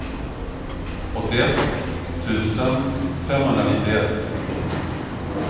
åttioett tusen femhundranittioett